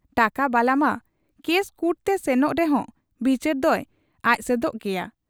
ᱴᱟᱠᱟ ᱵᱟᱞᱟᱢᱟ ᱠᱮᱥ ᱠᱩᱴᱛᱮ ᱥᱮᱱᱚᱜ ᱨᱮᱦᱚᱸ ᱵᱤᱪᱟᱹᱨ ᱫᱚᱭ ᱟᱡᱥᱮᱫᱽ ᱜᱮᱭᱟ ᱾